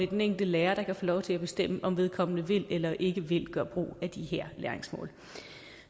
den enkelte lærer der kan få lov til at bestemme om vedkommende vil eller ikke vil gøre brug af de her læringsmål